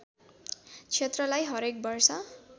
क्षेत्रलाई हरेक वर्ष